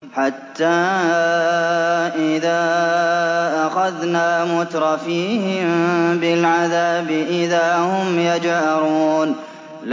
حَتَّىٰ إِذَا أَخَذْنَا مُتْرَفِيهِم بِالْعَذَابِ إِذَا هُمْ يَجْأَرُونَ